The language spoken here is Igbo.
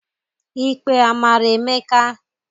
Ikpe amara Emeka?